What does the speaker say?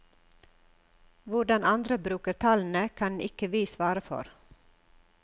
Hvordan andre bruker tallene, kan ikke vi svare for.